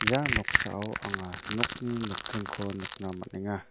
ia noksao anga nokni nokdringko nikna man·enga.